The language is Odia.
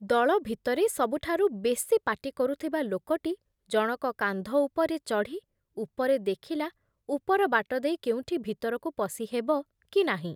ଦଳ ଭିତରେ ସବୁଠାରୁ ବେଶୀ ପାଟି କରୁଥିବା ଲୋକଟି ଜଣକ କାନ୍ଧ ଉପରେ ଚଢ଼ି ଉପରେ ଦେଖିଲା ଉପର ବାଟ ଦେଇ କେଉଁଠି ଭିତରକୁ ପଶି ହେବ କି ନାହିଁ ।